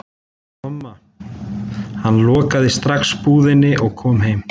Tomma, hann lokaði strax búðinni og kom heim.